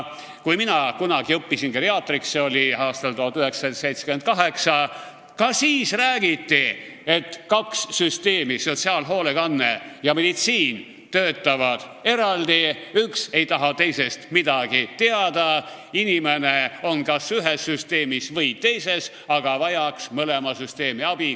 Kui mina kunagi õppisin geriaatriks, see oli aastal 1978, ka siis räägiti, et kaks süsteemi, sotsiaalhoolekanne ja meditsiin, töötavad eraldi, üks ei taha teisest midagi teada, inimene on kas ühes või teises süsteemis, aga vajaks mõlema süsteemi abi.